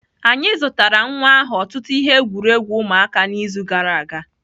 Anyị zụtara nwa ahụ ọtụtụ ihe egwuregwu ụmụaka n'izu gara aga.